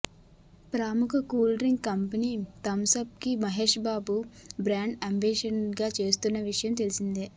ప్రముఖ cool drink company Thums Up కి Mahesh Babu brand ambassador గా చేస్తున్న విషయం తెలిసిందే